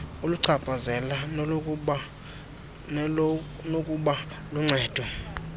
oluchaphazela nolunokuba luncedo